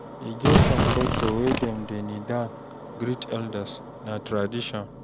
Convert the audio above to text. E get some culture wey dem dey kneel down greet elders, na tradition.